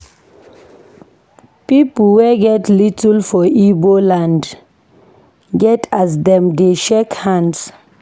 Pipo wey get title for Ibo land get as dem dey shake hands.